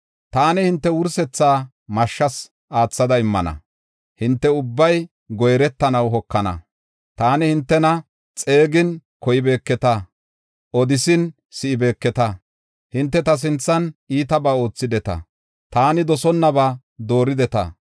Taani hinte wursethaa mashshas aathada immana; hinte ubbay goyretanaw hokana. Taani hintena xeegin koybeketa; odisin si7ibeeketa. Hinte ta sinthan iitabaa oothideta; taani dosonnaba doorideta.”